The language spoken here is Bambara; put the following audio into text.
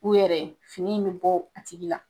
U yɛrɛ ye, fini in bɛ bɔ butigi la.